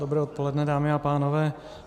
Dobré odpoledne, dámy a pánové.